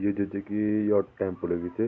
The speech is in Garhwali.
यु ज च की यौ टेम्पू लग्युं च।